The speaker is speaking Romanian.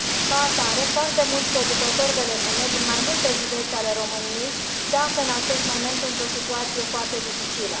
Ca atare, foarte mulți producători de legume, din mai multe județe ale României, se află în acest moment într o situație foarte dificilă.